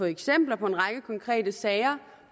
eksempler på en række konkrete sager